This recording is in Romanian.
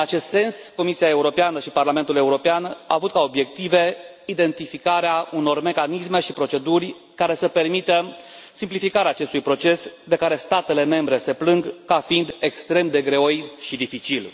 În acest sens, Comisia Europeană și Parlamentul European au avut ca obiective identificarea unor mecanisme și proceduri care să permită simplificarea acestui proces de care statele membre se plâng ca fiind extrem de greoi și dificil.